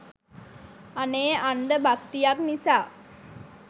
අනේ අන්ධ භක්තියක් නිසා